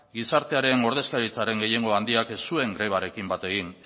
gizartearen ordezkaritzaren gehiengo handiak ez zuen grebarekin bat egin